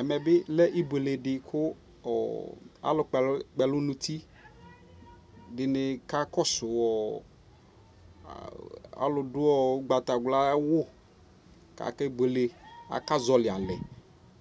Ɛmɛ bi lɛ ibuele di bi kualu kpɛ lu nuti dini ka kɔ su ɔɔ alu du ugbata wla wu ku akɛ buele Aka zɔwɔli alɛ